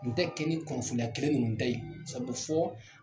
N tɛ kɛ ni kunfinna kelen nin ta ye sɛbɛ fɔɔ